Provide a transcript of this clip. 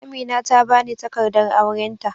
Amina ta bani takardar aurenta.